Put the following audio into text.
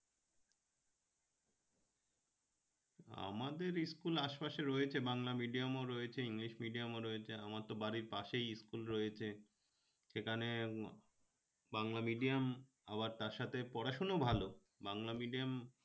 আমাদের school আশপাশে রয়েছে বাংলা medium ও রয়েছে english medium ও রয়েছে আমার তো বাড়ির পাশেই school রয়েছে সেখানে বাংলা medium আবার তার সাথে পড়াশোনা ও ভালো বাংলা medium